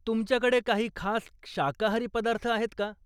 तुमच्याकडे काही खास शाकाहारी पदार्थ आहेत का?